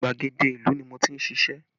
Gbàgede ìlú ni mo ti ń ṣíṣe